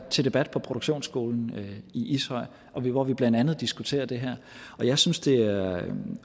til debat på produktionsskolen i ishøj hvor vi blandt andet diskuterede det her jeg synes det er er